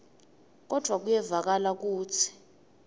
kodvwa kuyevakala kutsi